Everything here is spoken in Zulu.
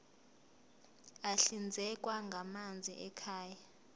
ahlinzekwa ngamanzi ekhaya